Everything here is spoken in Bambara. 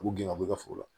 U b'u gɛn ka bɔ i ka foro la